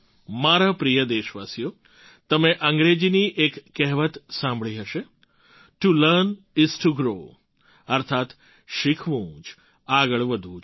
મારા પ્રિય દેશવાસીઓ તમે અંગ્રેજીની એક કહેવત સાંભળી હશે to learn is to grow અર્થાત્ શીખવું જ આગળ વધવું છે